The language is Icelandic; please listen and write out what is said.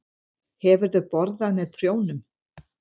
Hefurðu borðað með prjónum?